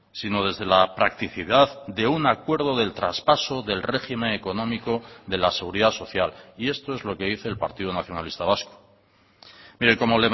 sino desde la practicidad de un acuerdo del traspaso del régimen económico de la seguridad social y esto es lo que dice el partido nacionalista vasco mire como